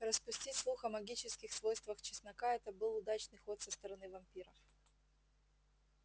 распустить слух о магических свойствах чеснока это был удачный ход со стороны вампиров